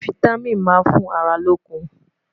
fìtámín má n fún àrà lókùn